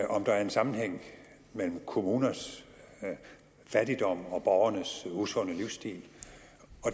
om der er en sammenhæng mellem kommuners fattigdom og borgernes usunde livsstil